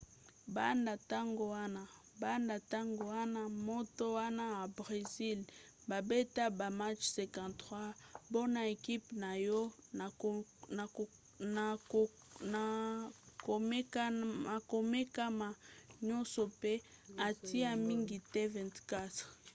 banda ntango wana moto wana ya bresil babeta ba match 53 mpona ekipe na ye na komekama nyonso pe atia mingete 24